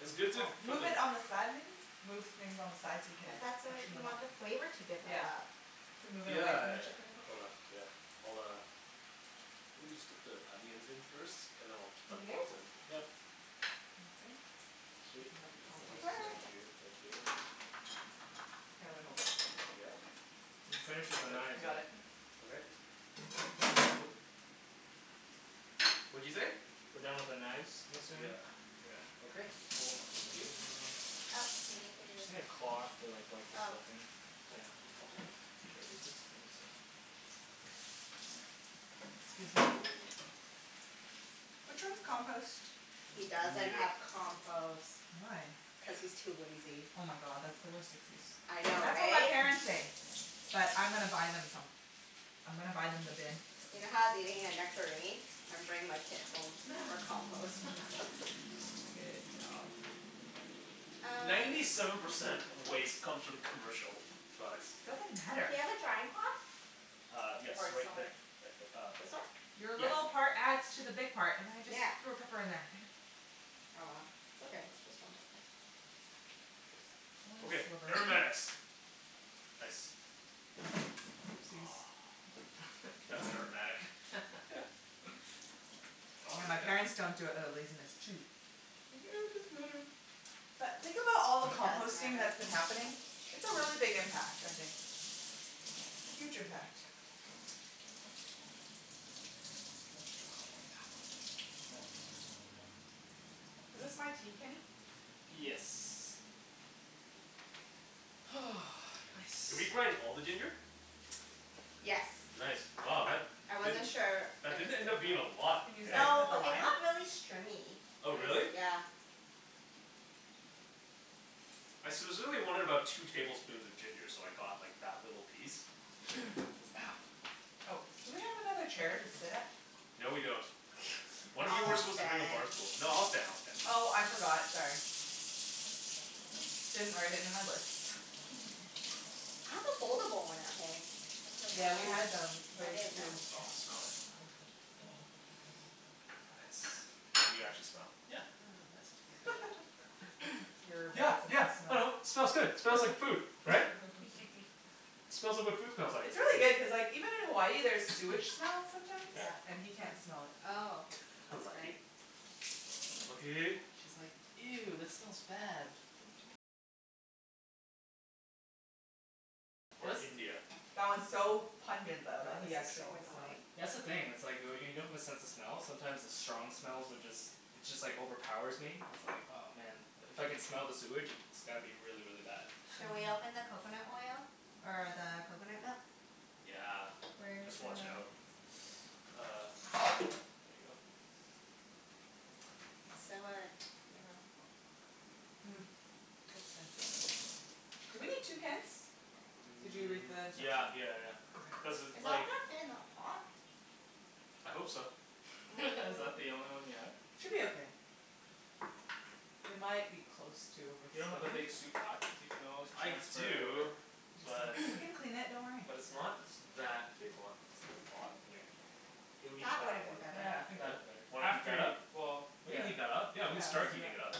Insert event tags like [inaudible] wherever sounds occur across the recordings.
It's good to Well, put move it them on the side, maybe? Move things on the side so you can But that's what, freshen you them up. want the flavor Yeah. to Yeah. develop. Could move it Yeah away yeah from the yeah. chicken a bit. Hold on. Yeah. I'll uh Let me just get the onions in first, and then I'll You dump good? those in. Yep. Sounds good. I Sweet. Bend can help you this compost. over. Thank you. Thank you. Here, let me hold it. Yep. You've finished with the Got it? I knives, eh? got it. Yeah. Okay. Woop. What'd you say? We're done with the knives, I'm assuming? Yeah. Yeah. Okay, cool. Thank you. Uh Oh, do you need to Just need a cloth to like wipe the Oh. stuffing. Yeah. Should I use this? I guess so. Excuse me. [noise] Which one's compost? He Me doesn't neither. have compost. Why? Yeah. Cuz he's too lazy. Oh my god, that's the worst excuse. I know, That's what my right? parents say. But I'm gonna buy them some. I'm gonna buy them the bin. You know how I was eating a nectarine? I'm bringing my pit home [laughs] for compost. [laughs] [laughs] Good job. Uh Ninety seven percent of waste comes from commercial products. Doesn't matter. Do you have a drying cloth? Uh yes. Or Right there. somewhere Right th- uh This one? Your Yeah. little part adds to the big part. And I just Yeah. threw a pepper in there. Damn it. Oh well, it's okay. It's just one pepper. One Okay. sliver. [noise] Aromatics. Nice. Oopsies. [noise] That's aromatic. [laughs] [laughs] Oh, Yeah, my parents yeah. don't do it outta laziness, too. Think, "Oh, it doesn't matter." But think about all the It does composting matter. that's been happening. It's a really big impact, I think. Huge impact. Oh Oh yeah. no. Is this my tea, Kenny? Yes. [noise] Did we Nice. grind all the ginger? Yes. Nice. Wow, that I wasn't didn't, sure. I that didn't just did end it up being a lot, Can use hey? that to cut No, the it lime? got really stringy. It Oh was, really? yeah. I specifically wanted about two tablespoons of ginger, so I got like that little piece. [noise] Ow. Oh, do we have another chair to sit at? No, we don't. One [noise] of you were I'll supposed to bring a bar stand. stool. No, I'll stand. I'll stand. Oh, I forgot. Sorry. Didn't write it in my list. [laughs] I have a foldable one at home. I could Yeah, have we had brought that. them, I those didn't too. know. Oh, smell that. Nice. Can you actually smell? Yeah. Yeah, yeah, yeah, it Nice. smells good. [laughs] [noise] Your Yeah, bad sense yeah. of I smell. know. Smells good. Smells like food, right? [laughs] Smells like what food smells like. It's really good [noise] cuz like, even in Hawaii there's [noise] sewage smell sometimes, Yeah. Yeah. and he can't smell it. Oh. I [noise] know. That's okay. Lucky. Lucky. She's like, "Ew, that smells bad." Or India. That one's so Oh pungent though that god, he this is actually so can smell annoying. it. That's the thing, it's like oh y- when you don't have a sense of smell sometimes the strong smells would just it just like overpowers me. It's like, oh man. If I can smell the sewage it's gotta be really, really bad. Shall we Mhm. open the coconut oil? Or the coconut milk? Yeah. Where's Just your watch out. [noise] Uh there you go. It's so uh, you know Hmm. Looks fancy. Do we need two cans? Did you read N- the yeah instructions? yeah yeah yeah. Okay. Cuz Is it all like gonna fit in that pot? I hope so. [laughs] Is that the Mm. only one you have? Should be Yep. okay. We might be close to You don't have a overspilling. big soup pot? Cuz we can always I transfer it over. do, He just but doesn't, we can clean it. Don't worry. but it's not that big, hold on, it's on the bottom here. It'll be That would've that been one. better. Yeah, I think that'd Yeah. be better. Wanna heat After that y- up? well, We can yeah. heat that up. Yeah, Yeah, we can let's start do heating it that. up.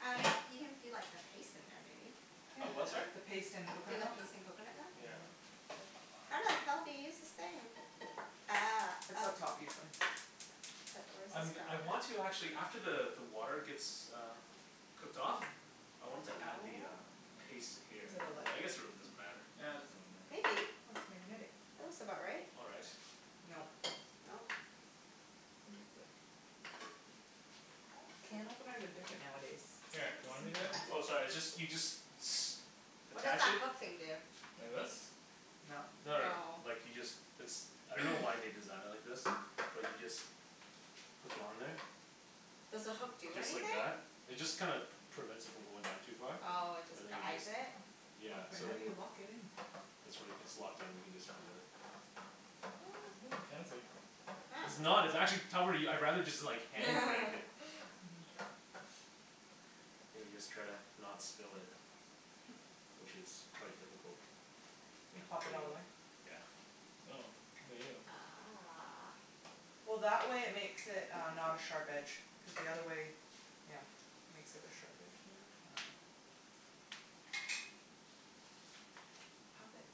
Um y- you can do like a paste in there, maybe? Yeah. A what, sorry? The paste and Do coconut the milk. paste in coconut milk and Yeah. then [noise] How the hell do you use this thing? Ah, It's oh. up top, usually. But where does I'm g- this I go? want to actually, after the the water gets uh cooked off, Hmm. I wanted to Hmm, add the uh no. paste to here. But I guess it really doesn't matter. Yeah, it doesn't really matter. Maybe. Oh, it's magnetic. That looks about right. All right. Nope. Nope. I think it's like Oh, can openers are different nowadays. Where Here, are the you want me to simple do it? ones? Oh sorry, it's just, you just s- What does attach that it hook thing do? Like this? Nope. No no no, No. like you just, it's, I don't know why they designed it like this. But you just hook it on there Does the hook do just like anything? that. It just kinda prevents it from going down too far. Oh, it just And then you guides just it? Yeah. Wait, So how do then you lock it in? It's like, it's locked in. You can just do it. What? Oh, fancy. It's Oh. not. It's actually cover- I'd rather just hand crank it. [laughs] Mhm. And you just try to not spill it. Which is quite difficult. You Yeah, pop there it you all the go. way? Yeah. Oh. Look at you. Ah. Well, that way it makes it uh not a sharp edge. Cuz the Yeah. other way, yeah, makes it a sharp edge maybe? I dunno. Pop it.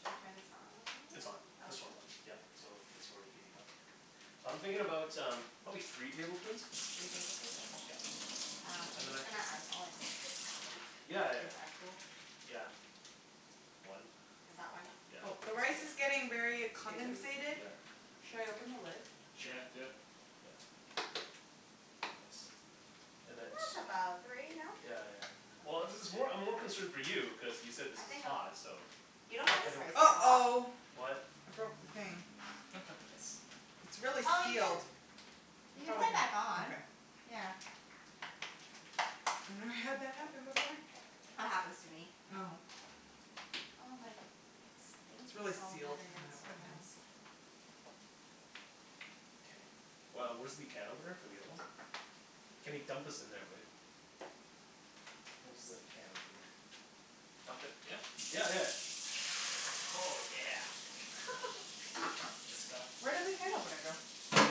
Shall we turn this on? It's on. This one's Okay. on. Yeah. So it's already heating up. So I'm thinking about um probably three tablespoons. Three tablespoons? Yeah. Okay. Um, I'm just gonna eyeball it. [laughs] Yeah yeah Is yeah. that cool? Yeah. One. Is that one? K. Yeah, Oh, the rice that's is a good one. getting very a Two. Two, comensated. yeah. Should I open the lid? Sure. Yeah, do it. Yeah. Nice. And And then that's t- about three, no? Yeah yeah yeah. Well, this is more, I'm more concerned for you cuz you said this I think is I'm hot, so You Yeah, don't find I this don't spicy at all? uh-oh. What? I broke the thing. [laughs] Nice. It's really Oh, you sealed. can you I can probably put it can, back on. okay. Yeah. I've never had that happen before. That happens to me at Oh. home. Oh my, this thing It's keeps really falling out sealed. again. And I It's have so wet hands. annoying. K. Well, where's the can opener for the other one? Kenny, dump this in there, will ya? Where's the Whoops. can opener? Dump it, yeah? Yeah yeah yeah. Oh yeah. [laughs] That's the stuff. Where did the can opener go?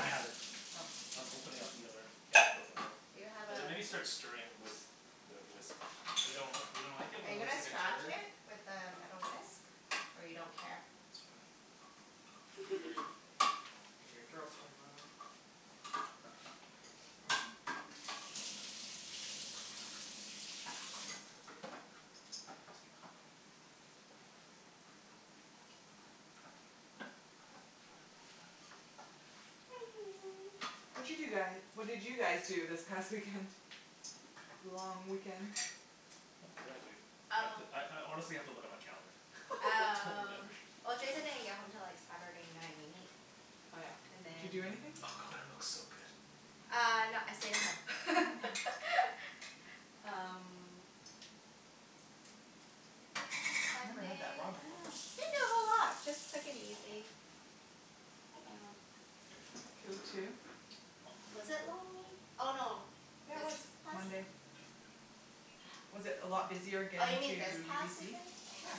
I have it. Oh. I'm opening up the other can of coconut milk. Do you have a And then maybe start stirring with the whisk. But you don't, you don't like it Are when it you looks gonna like a scratch turd? it with the metal whisk? Or you don't care? It's fine. Be very, [laughs] be very Girls careful. can [inaudible] [noise] [noise] [noise] Watcha do guy, what did you guys do this past weekend? Long weekend? What did I do? I have to, Oh I I honestly have to look at my calendar. I [laughs] don't Um, remember. well Jason didn't get home til like [noise] Saturday night Oh yeah. and Did you do then Oh, anything? Oh, that coconut milk's looks so so good. good. Uh no, I stayed at home. [laughs] [laughs] Um [noise] Never had that Sunday raw I before. dunno. Didn't do a whole lot. Just took it easy. Yeah. That's cool too. Was it long wee- oh no, Yeah, it this was. past Monday. [noise] Was it a lot busier Oh, you getting to mean this past UBC? weekend? Yeah.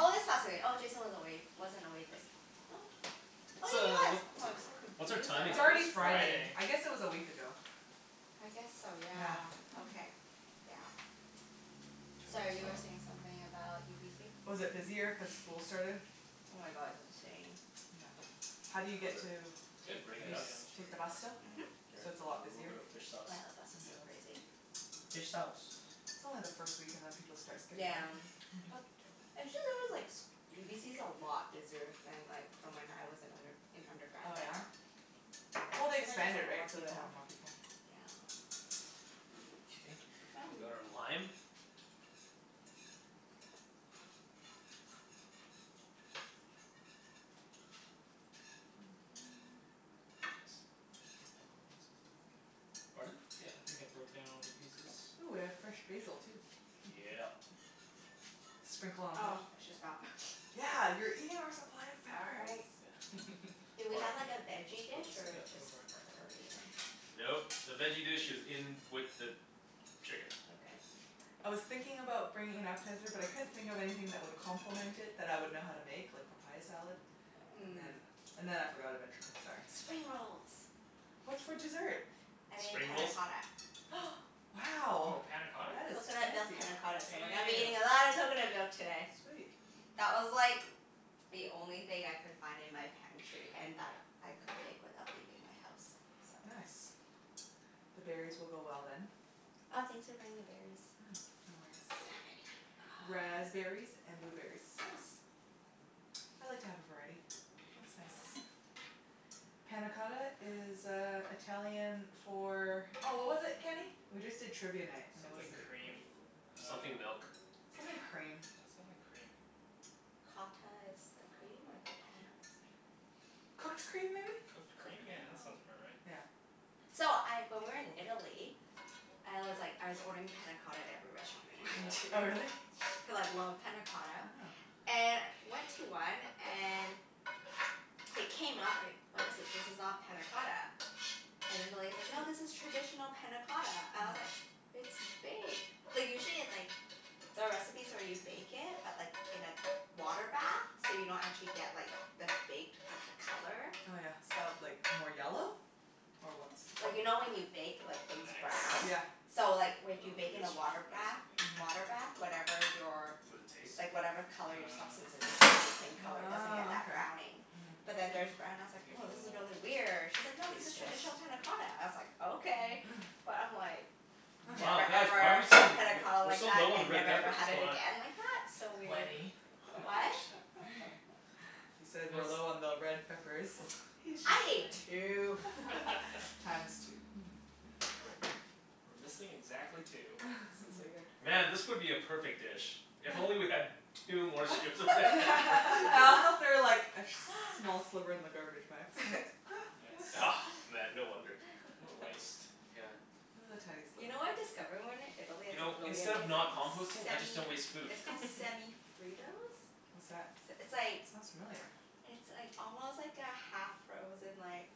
Oh, this past wee- oh, Jason was away, wasn't away this, oh Oh What's yeah, he a, was. what, Oh, I'm so what's our confused now. timing It's It already is like? Friday. Friday. I guess it was a week ago. I guess so, yeah. Yeah. [laughs] Okay. Yeah. Turn Sorry, this you were off. saying something about UBC? Was it busier cuz school started? Oh my god, it's insane. Yeah. How do you Was get it, to, It's did good. it break Yeah, it you st- yeah, up? yeah, I'm just take the breaking it bus up. still? [noise] Mhm. [noise] Oh Here, So yeah, it's a lot a little busier? bit of fish sauce. the bus On is so Yep. the bus. crazy. Fish sauce. It's only the first week and then people start [noise] skipping Yeah. out. [laughs] But, actually there was like s- UBC's a lot busier than like from when I was in under- an undergrad Oh, yeah? there. Well, [noise] they Seems like there's a expanded, lot right? more So they people. have more people. Okay. We've got our lime. Yeah. [noise] Nice. I think I broke down all the pieces, I think. Pardon? Yeah, I think I broke down all the pieces. Ooh, we have fresh Should be good. basil, too. [noise] [laughs] Yeah. [noise] Sprinkle on Oh, top. I should stop. [laughs] Yeah, you're eating our supply of peppers. Sorry. Yeah. Do we All right, have like a [laughs] let's veggie put dish Yep. this in. or Go just for it. curry and Nope, the veggie dish is in with the chicken. Okay. [noise] I was thinking about bringing an appetizer, but I couldn't think of anything that would complement it that I would know how to make, like papaya salad. And then Mm. and then I forgot eventually. Sorry. Spring rolls. What's for dessert? I made Spring panna rolls? cotta. Hm. [noise] Wow. Woah, panna cotta? That is Coconut milk fancy. panna cotta, so we're gonna be Damn. eating a lot of coconut milk today. Sweet. That was like the only thing I could find in my pantry and that I could make without leaving my house, so Nice. The berries will go well, then. Oh, thanks for bringing the berries. Yeah. No worries. I didn't have any. Ah. Raspberries and blueberries. Nice. I like to have a variety. Looks nice. Panna cotta is uh Italian for Oh, what was it, Kenny? We just did Trivia Night and it was Something a quest- cream uh Something milk. Something cream. Yeah, something cream. Cotta is the cream, or the Um panna is? Cooked cream, maybe? Cooked Cooked cream? Yeah, cream? that Oh. sounds about right. Yeah. So, I, when we Or were in baked. Italy I was like, I was ordering panna cotta at every restaurant we went [noise] [inaudible] Oh, to. really? Cuz [inaudible] I love Yeah. panna cotta. [noise] And went to one and it came out, I was like, "What is this? This is not panna cotta." And then the lady's like, "No, this is traditional panna cotta." I was like, Mm. "It's baked." Like usually it's like the recipes where you bake it, but like in a water bath. So you don't actually get like the baked, but the color. Oh yeah, So like, more yellow? Or what's the color? Like you know when you bake like things brown? Yeah. Nice. So like w- if Well, you we bake in can a switch water to this, bath I think. Mhm. water bath, whatever your Would it taste? like whatever color your substance Um is it stays the same Yeah. color. It doesn't get Ah, that okay. browning. Mhm. But then theirs brown and I was I'll like, give it "Woah, a this is little really weird." She's like, "No, this is taste test. Smells, traditional panna yeah. cotta." I was like, "Okay." [noise] But I'm like [noise] Wow, never, guys, why are ever we so l- had panna w- cotta we're like so that, low on the and red never, ever peppers. had What's it going on? again like that. So weird. Wenny. What? [laughs] [laughs] He said we're Phil's low on the red peppers. He's just I ate playing. two. [laughs] [laughs] [laughs] Times two. [laughs] We're missing exactly two. [laughs] [inaudible] Man, this would be a perfect dish if only [laughs] we had two more strips of red pepper. [laughs] I [noise] also [laughs] threw like a sh- [laughs] small sliver in the garbage by accident. [laughs] Yep. Nice. [noise] Man, no wonder. [laughs] What a [laughs] waste. Yeah. It was a tiny You sliver. know what I discovered when we were in Italy You that's like know, really instead of not amazing? composting, I just Semi, don't waste food. it's called [laughs] Semi Fritos. What's that? S- It's like [noise] Sounds familiar. it's like almost like a half-frozen like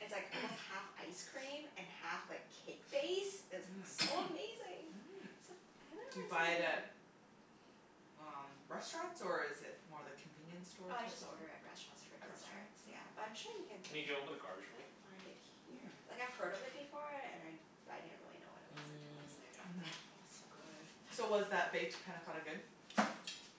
it's like almost [noise] half ice cream and half like cake base. It's like Mmm. so [noise] amazing. Mm. Except I haven't Do really you seen buy it it at here. um restaurants, or is it more the convenience store Oh, I type just of order thing? at restaurants for At restaurants? desserts, yeah. But Oh. I'm sure you can Kenny, can you open the garbage for me? find it here. Hmm. Like, I've heard of it before and I but I didn't really know what it was until I was Mm. there. Oh, Mhm. it's so good. So was that baked panna cotta good?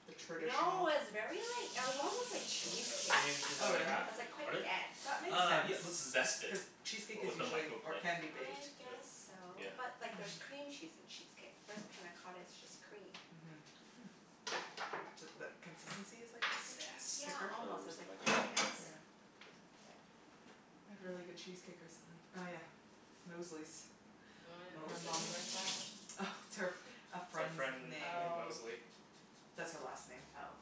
The No, traditional it was very like, it was almost like Throw this cheesecake. out. You need this Oh, other really? half? It was like quite Pardon? dense. That makes Uh, sense. yeah let's zest it. Cuz cheesecake is With the Woah. usually, or microblade. can be, baked. I Do it. guess so. Yeah. But like there's Mhm. cream cheese in cheesecake. Whereas panna cotta is just cream. Mhm. Hmm. Ju- th- consistency is like cheesecake then? Yeah, Zest. Thicker? Oh, almost. It where's was the like plain [inaudible] microblade? Here. Yeah. K. We had really good cheesecake recently. Oh yeah, Mosley's. Oh Her yeah. Mosley's? mom. Where's that? Oh, it's her, [noise] It's a our friend's friend name. named Oh. Mosley. Oh.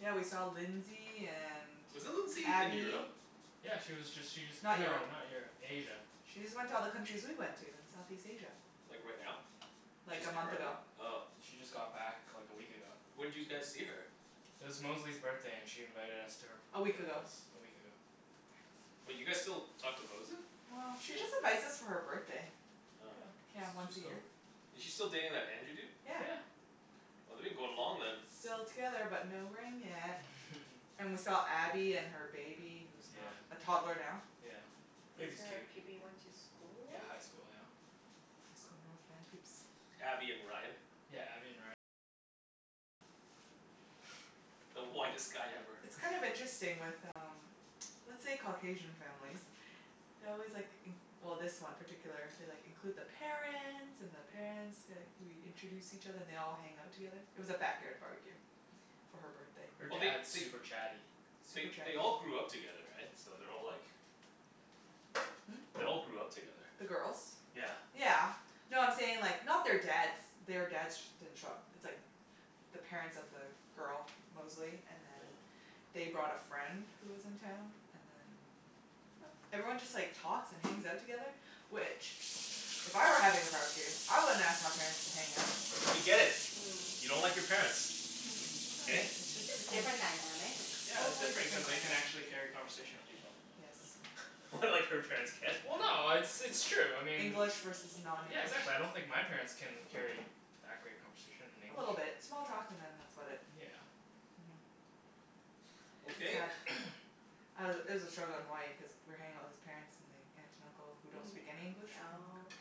Yeah, we saw Lindsay and Wasn't Lindsay in Abby. Europe? Yeah, she was just, she just, Not no, Europe. not Europe. Asia. She just went to all the countries we went to in Southeast Asia. Like right now? Like, She's a month currently? ago. Oh. She just got back like a week ago. When'd you guys see her? It was Mosley's birthday and she invited us to her A p- week her ago. place a week ago. Wait, you guys still talk to Mosley? Well, she just invites us for her birthday. Oh. Yeah, Yeah, she's once a she's year. cool. Is she still dating that Andrew dude? Yeah. Yeah. Well they've been going long then. Still together but no ring yet. [laughs] And we saw Abby and her baby, who's Yeah. not a toddler now. Yeah. These Baby's are cute. people you went to school Yeah, with? high school. Yeah. High school North Van peeps. Abby and Ryan. [noise] [noise] The whitest guy ever. It's kind of [laughs] interesting with um let's say Caucasian families they always like in- well, this one particular, they like, include the parents and the parents, like we introduce each other. And they all hang out together. It was a backyard barbecue. For her birthday. Her Well they dad's they super chatty. they Super chatty they all people. grew up together, right? So they're all like Hmm? They all grew up together. The girls? Yeah. Yeah. No, I'm saying like, not their dads, their dads sh- didn't show up. It's like the parents of the girl, Mosley, and then Mm. they brought a friend who was in town, and then everyone just like talks and hangs out together, which if I were having a barbecue, I wouldn't ask my parents to hang out. We get it. Mm. You don't like your Yeah. parents. [laughs] [inaudible] Hey? it's just Just different different dynamic. Yeah, it's Totally different cuz different they can dynamic. actually carry a conversation with people. Yes. [laughs] What, like her parents can't? Well no, it's it's true. I mean English versus Yeah, non-english. exactly. I don't think my parents can carry that great conversation in A English. little bit. Small talk and then that's about it. Yeah. Mhm. It's Okay. sad. [noise] [noise] I was it was a struggle in Hawaii cuz we were hanging out with his parents and the aunt and uncle, who don't Mhm. speak any English, from Hong Kong Oh.